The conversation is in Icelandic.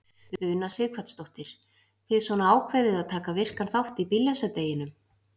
Una Sighvatsdóttir: Þið svona ákveðið að taka virkan þátt í bíllausa deginum?